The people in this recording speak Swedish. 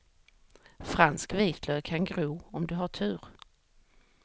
Fransk vitlök kan gro om du har tur.